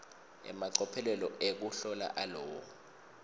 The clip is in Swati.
emacophelo ekuhlola alowo